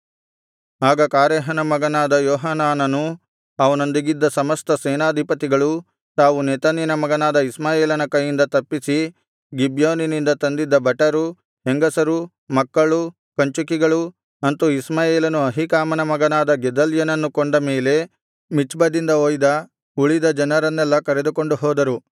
ಆಗ ಕಾರೇಹನ ಮಗನಾದ ಯೋಹಾನಾನನೂ ಅವನೊಂದಿಗಿದ್ದ ಸಮಸ್ತ ಸೇನಾಧಿಪತಿಗಳೂ ತಾವು ನೆತನ್ಯನ ಮಗನಾದ ಇಷ್ಮಾಯೇಲನ ಕೈಯಿಂದ ತಪ್ಪಿಸಿ ಗಿಬ್ಯೋನಿನಿಂದ ತಂದಿದ್ದ ಭಟರು ಹೆಂಗಸರು ಮಕ್ಕಳು ಕಂಚುಕಿಗಳು ಅಂತು ಇಷ್ಮಾಯೇಲನು ಅಹೀಕಾಮನ ಮಗನಾದ ಗೆದಲ್ಯನನ್ನು ಕೊಂದ ಮೇಲೆ ಮಿಚ್ಪದಿಂದ ಒಯ್ದ ಉಳಿದ ಜನರನ್ನೆಲ್ಲಾ ಕರೆದುಕೊಂಡು ಹೋದರು